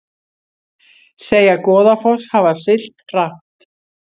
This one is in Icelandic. Segja Goðafoss hafa siglt hratt